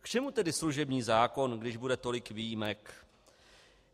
K čemu tedy služební zákon, když bude tolik výjimek?